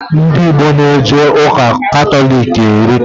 Ndị Igbo na eje ụka Katọlik erika